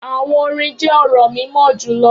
Awọn orin jẹ ọrọ mimọ julọ